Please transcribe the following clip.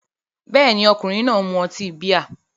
Bẹ́ẹ̀ni, ọkùnrin náà mu ọtí bíà